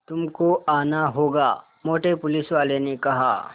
तुमको आना होगा मोटे पुलिसवाले ने कहा